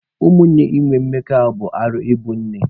Ụmụnne inwe mmekọahụ bụ arụ ibe nne.